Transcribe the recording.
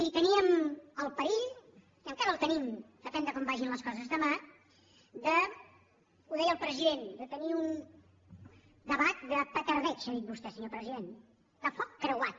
i teníem el perill i encara el tenim depèn de com vagin les coses demà de ho deia el president tenir un debat de petardeig ha dit vostè senyor president de foc creuat